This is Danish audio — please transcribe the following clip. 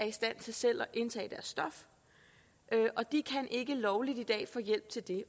i stand til selv at indtage deres stof og de kan ikke lovligt få hjælp til det